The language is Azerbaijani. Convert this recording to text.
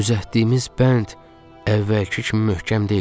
Düzəltdiyimiz bənd əvvəlki kimi möhkəm deyildi.